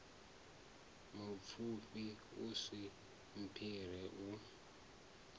mupfufhi u si mphire u